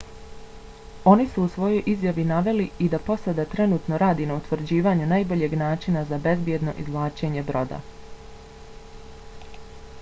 oni su u svojoj izjavi naveli i da posada trenutno radi na utvrđivanju najboljeg načina za bezbjedno izvlačenje broda.